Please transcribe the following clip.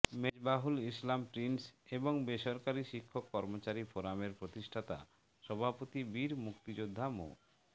Mezbahul Islam Prince এবং বেসরকারি শিক্ষক কর্মচারী ফোরামের প্রতিষ্ঠাতা সভাপতি বীর মুক্তিযোদ্ধা মো